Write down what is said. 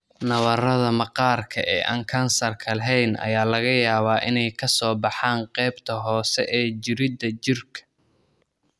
Nabarrada maqaarka ee aan kansarka lahayn ayaa laga yaabaa inay ka soo baxaan qaybta hoose ee jirridda jirka.